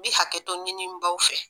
N bɛ hakɛto ɲini n baw fɛ